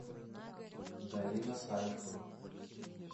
галина салехова